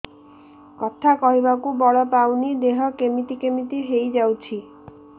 କଥା କହିବାକୁ ବଳ ପାଉନି ଦେହ କେମିତି କେମିତି ହେଇଯାଉଛି